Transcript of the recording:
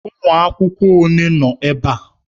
Ụmụ akwụkwọ ole nọ ebe a?